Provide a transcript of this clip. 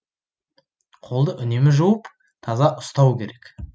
қолды үнемі жуып таза ұстау керек